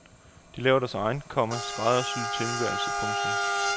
De laver deres egen, komma skræddersyede tilværelse. punktum